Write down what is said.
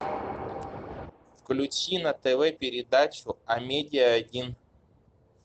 включи на тв передачу амедиа один